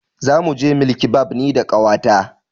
Zamu je bilkibab ni da ƙawata.